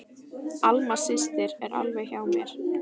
Alma systir er alveg hjá mér.